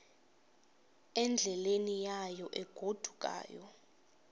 endleleni yayo egodukayo